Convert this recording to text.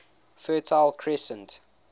fertile crescent